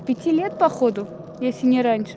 пяти лет походу если не раньше